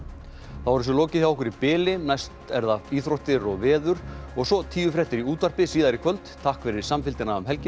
þá er þessu lokið hjá okkur í bili næst eru það íþróttir og veður og svo tíufréttir í útvarpi síðar í kvöld takk fyrir samfylgdina um helgina